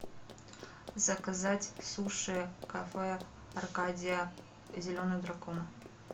заказать суши кафе аркадия зеленый дракон